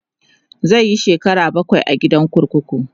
zai Yi shekara bakwai a gidan kurkuku